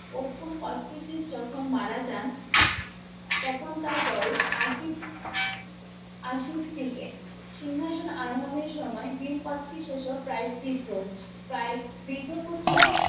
প্রথমে কোচটিসিস যখুন মারা যান তখন তার বয়স আশির আশির দিকে সিংহাসন আরোহনের সময়ে ভীম কোচটি সে সব prize দিতো তাই বৃদ্ধ পুত্রর